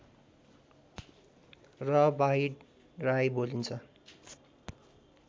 र बाहिड राई बोलिन्छ